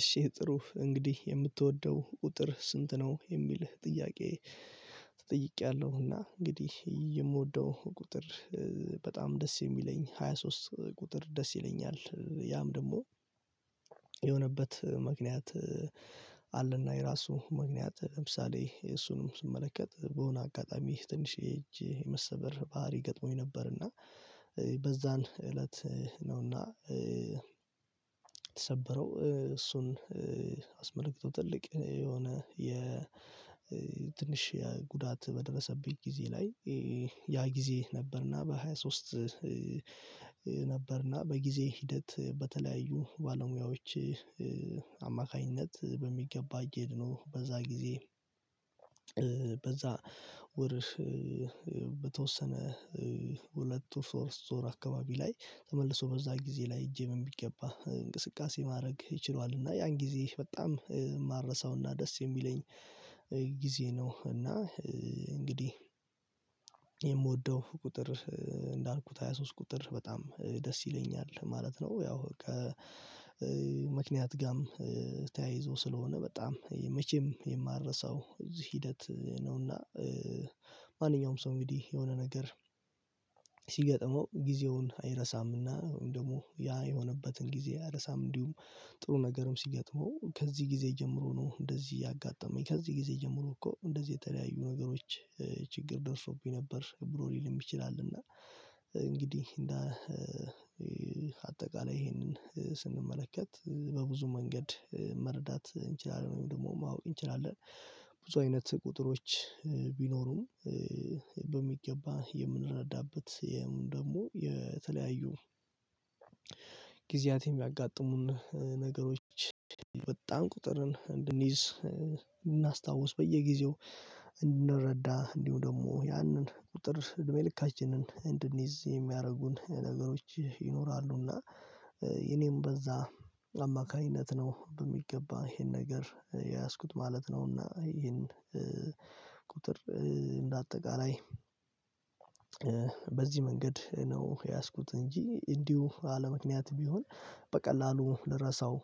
እሺ ጥሩ እንግዲህ የምትወደው ቁጥር ስንት ነው የሚል ጥያቄ? ተጠይቄያለሁ እና እንግዲህ የምወደው ቁጥር በጣም ደስ የሚለኝ ሃያ ሶስት ቁጥር ደስ ይለኛል። ያም ደግሞ የሆነበት ምክንያት አለ። እና የራሱ ምክንያት ለምሳሌ እሱንም ስመለከት በሆነ አጋጣሚ ትንሽየ እጅ የመሰበር ባህሪ ገጥሞኝ ነበር። እና በዛን እለት ነው እና የተሰበረው እሱን አስመልክቶ ትልቅ የሆነ የ ትንሽ የጉዳት በደረሰብኝ ጊዜ ላይ ያ ጊዜ ነበር። እና በሃያ ሶስት ነበር እና በጊዜ ሂደት በተለያዩ ባለሙያዎች አማካኝነት በሚገባ እጀ ድኖ በዛ ጊዜ። በዛ ወርም በተወሰነ ሁለት ሶስት ወር አካባቢ ላይ ተመልሶ በዛ ጊዜ ላይ እጀ በሚገባ እንቅስቃሴ ማድረግ ይ ችሏል። እና ያን ጊዜ በጣም ማረሳው እና ደስ የሚለኝ ጊዜ ነው። እና እንግዲህ የምወደው ቁጥር እንዳልኩት ሃያ ሶስት ቁጥር በጣም ደስ ይለኛል ማለት ነው። ያው ከምክንያት ጋርም ተያይዞ ስለሆነ በጣም መቼም የማልረሳው ከዚህ ሂደት ነው። እና ማንኛውም ሰው እንግዲህ የሆነ ነገር ሲገጥመው ጊዜውን አይረሳም እና ደግሞ ያ የሆነበትን ጊዜ አይረሳም እንዲሁም ጥሩ ነገርም ሲገጥመው ከዚህ ጊዜ ጀምሮ ነው። እንደዚህ ያጋጠመኝ ከዚህ ጊዜ ጀምሮ እኮ እንደዚህ የተለያዩ ነገሮች ችግር ደርሶብኝ ነበር ብሎ ሊልም ይችላል። እና እንግዲህ እንደ አጠቃላይ ይሄንን ስንመለከት በብዙ መንገድ መረዳት እንችላለን ወይም ደግሞ ማወቅ እንችላለን። ብዙ አይነት ቁጥሮች ቢኖሩም በሚገባ የምንረዳበት ያም ደግሞ የተለያዩ ጊዜያት የሚያጋጥሙን ነገሮች በጣም ቁጥርን እንድንይዝ እድናስታውስ በየጊዜው እንድረዳ እንዲሁ ደግሞ ያንን ቁጥር እድሜ ልካችንን እንድንይዝ የሚያደርጉን ነገሮች ይኖራሉ እና እኔም በዛ አማካኝነት ነው በሚገባ ይሄን ነገር የያዝኩት ማለት ነው። እና ይሄን ቁጥር እንደ አጠቃላይ በዚህ መንገድ ነው የያዝኩት እንጂ እንዲሁ አለምክንያት ቢሆን በቀላሉ ልረሳው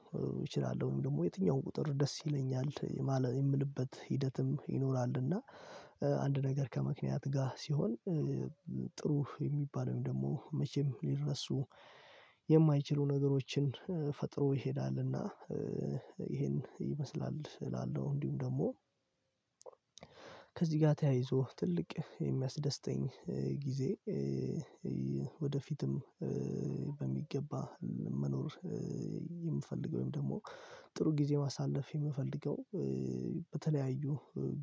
እችላለሁ። ደግሞ የትኛውም ቁጥር ደስ ይለኛል የማ የምልበት ሂደትም ይኖራል። እና አንድ ነገር ከምክንያት ጋር ሲሆን ጥሩ የሚባል ደግሞ መቼም ሊረሱ የማይችሉ ነገሮችን ፈጥሮ ይሄዳል። እና ይሄን ይመስላል እላለሁ። እንዲሁም ደግሞ ከዚህ ጋር ተያይዞ ትልቅ የሚያስደስተኝ ጊዜ ወደፊትም በሚገባ መኖር የምፈልገው ወይም ደግሞ ጥሩ ጊዜ ማሳለፍ የምፈልገው። በተለያዩ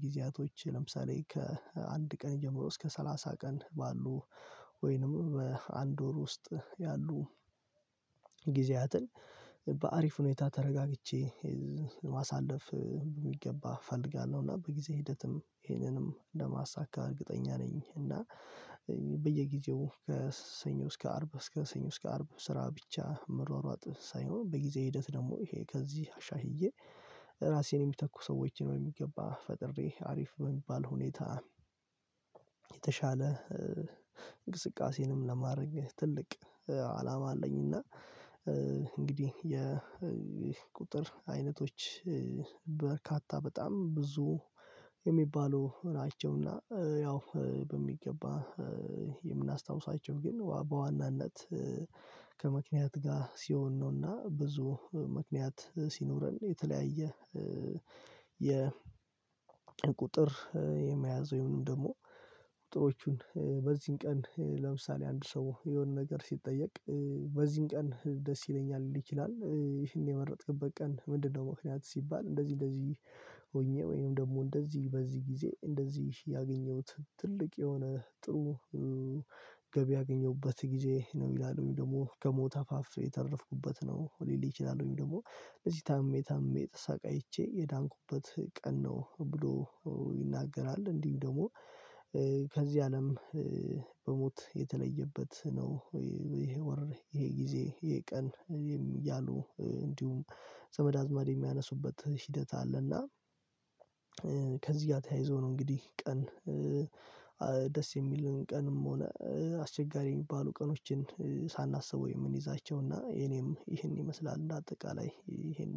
ጊዜያቶች ለምሳሌ ከአንድ ቀን ጀምሮ እስከ ሰላሳ ቀን ባሉ ወይንም በአንድ ወር ውስጥ ያሉ ጊዜያትን በአሪፍ ሁኔታ ተረጋግቼ ማሳለፍ ሚገባ እፈልጋለሁ እና በጊዜ ሂደትም ይሄንንም እንደ ማሳካት እርግጠኛ ነኝ። እና በየጊዜው ከሰኞ እስከ አርብ እስከ ሰኞ እስከ አርብ ስራ ብቻ መሯሯጥ ሳይሆን በጊዜ ሂደት ደግሞ ይሄ ከዚህ አሻሽዬ ራሴን የሚተኩ ሰዎችን በሚገባ ፈጥሬ አሪፍ በሚባል ሁኔታ የተሻለ እንቅስቃሴንም ለማድረግ ትልቅ አላማ አለኝ። እና እንግዲህ የቁጥር አይነቶች በርካታ በጣም ብዙ የሚባሉ ናቸው እና ያው በሚገባ የምናስታውሳቸው ግን በዋናነት ከምክንያት ጋር ሲሆን ነው። እና ብዙ ምክንያት ሲኖረን የተለያየ የቁጥር የመያዝ ወይም ደግሞ ቁጥሮቹን በዚህን ቀን ለምሳሌ አንድ ሰው የሆነ ነገር ሲጠየቅ በዚህ ቀን ደስ ይለኛል ሊል ይችላል ይህን የመረጥክበት ቀን ምንድነው? ምክንያት ሲባል እንደዚህ እንደዚህ ሆኜ ወይንም ደግሞ እንደዚህ በዚህ ጊዜ እንደዚህ ያገኘሁት ትልቅ የሆነ ጥሩ ገቢ ያገኘሁበት ጊዜ ነው። ይላሉ ደግሞ ከሞት አፋፍ የተረፍኩበት ነው ሊል ይችላል። ወይም ደግሞ እዚህ ታምሜ ታምሜ ተሰቃይቼ የዳንኩበት ቀን ነው ብሎ ይናገራል። እንዲሁም ደግሞ ከዚህ አለም በሞት የተለየበት ነው። ይሄ ወር ይሄ ጊዜ ይሄ ቀን እያሉ እንዲሁም ዘመድ አዝማድ የሚያነሱበት ሂደት አለ። እና ከዚህ ጋር ተያይዞ ነው። እንግዲህ ቀን ደስ የሚልን ቀንም ሆነ አስቸጋሪ የሚባሉ ቀኖችን ሳናስበው የምንይዛቸው እና የኔም ይህን ይመስላል እንደ አጠቃላይ ይህን